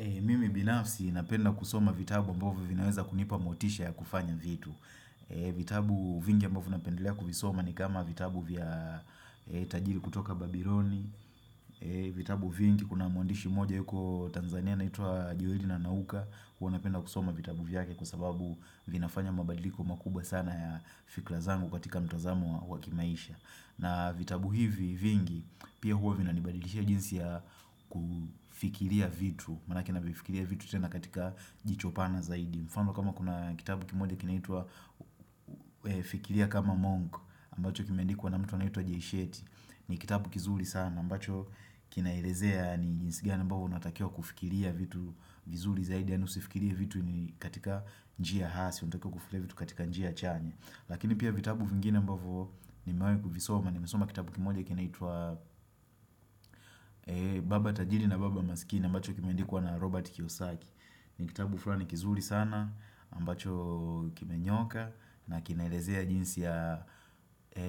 Mimi binafsi napenda kusoma vitabu ambavu vinaweza kunipa motisha ya kufanya vitu vitabu vingi ambavyo napendelea kufisoma ni kama vitabu vya tajiri kutoka Babyloni vitabu vingi kuna mwandishi moja yuko Tanzania na ito wa Jiodina Nauka Kwa napenda kusoma vitabu vyake kwa sababu vinafanya mabadiliko makuba sana ya fikla zangu katika mtozamo wa kimaisha na vitabu hivi vingi pia huo vina nibadilishia jinsi ya kufikiria vitu Maanake navifikiria vitu tena katika jicho pana zaidi mfano kama kuna kitabu kimoja kinaitua fikiria kama monk ambacho kimendikuwa na mtu anaitua jesheti ni kitabu kizuri sana ambacho kinairezea ni njinsi ngani ambao natakia kufikiria vitu vizuri zaidi ya nusifikiria vitu katika njia hasi Natakia kufikiria vitu katika njia chanya Lakini pia vitabu vingine mbavo ni mewahi kufisoma, ni mesoma kitabu kimoja kinaitua Baba Tajiri na Baba Masikini ambacho kimendikuwa na Robert Kiyosaki ni kitabu fulani kizuri sana, mbacho kimenyooka na kinelezea jinsi ya